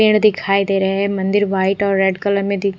पेड़ दिखाई दे रहे है मंदिर व्हाइट और रेड कलर में दिख --